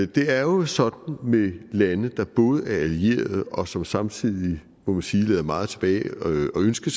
det er jo sådan med lande der både er allierede og som samtidig må man sige lader meget tilbage at ønske